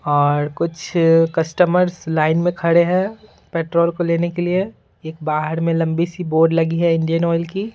और कुछ customers line में खड़े हैं पेट्रोल को लेने के लिए बाहर में लंबी सी बोर्ड लगी है इंडियन ऑयल की।